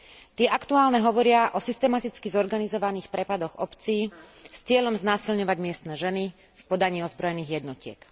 Tie aktuálne hovoria o systematicky zorganizovaných prepadoch obcí s cieľom znásilňovať miestne ženy v podaní ozbrojených jednotiek.